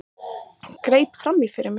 Greip fram í fyrir mér.